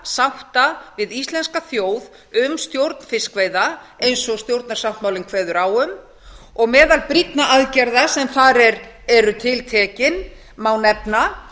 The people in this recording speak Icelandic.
sátta við íslenska þjóð um stjórn fiskveiða eins og stjórnarsáttmálinn kveður á um meðal brýnna aðgerða sem þar eru tiltekin má nefna